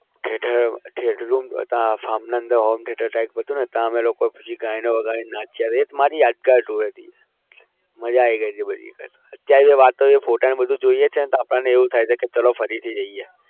theater room ત્યાં farm ના અંદર home theatre type હતુંને ત્યાં અમે લોકો પછી ગીતો વગાડીને નાચ્યા. એ જ મારી યાદગાર tour હતી. મજા આવી ગઈ બધી અત્યારે એ વાતો અને photos બધું જોઈએ છે ને તો આપણે એવું થાય છે કે ચાલો ફરીથી જઈએ.